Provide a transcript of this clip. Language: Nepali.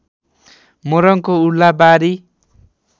मोरङको उर्लाबारी